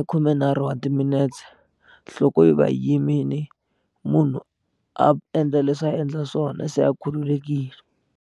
i khumenharhu wa timinetse nhloko yi va yi yimile munhu a endla leswi a endla swona se a khululekile.